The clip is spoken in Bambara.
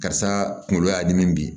Karisa kunkolo y'a dimi bi